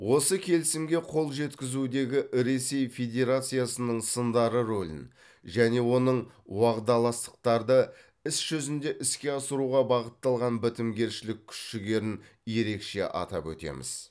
осы келісімге қол жеткізудегі ресей федерациясының сындарлы рөлін және оның уағдаластықтарды іс жүзінде іске асыруға бағытталған бітімгершілік күш жігерін ерекше атап өтеміз